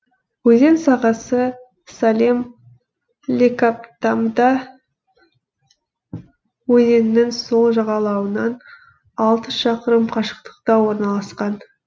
өзен сағасы салем лекабтамбда өзенінің сол жағалауынан алты шақырым қашықтықта орналасқан